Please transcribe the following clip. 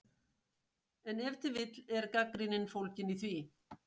En ef til vill er gagnrýnin fólgin í því?!